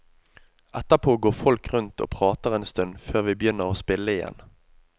Etterpå går folk rundt og prater en stund før vi begynner å spille igjen.